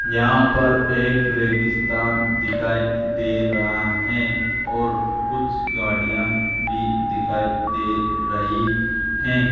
यहां पर एक रेगिस्तान दिखाई दे रहा है और कुछ गाड़ियां भी दिखाई दे रही है।